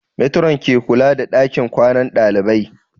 Matron ke kula da ɗakin kwanan ɗalibai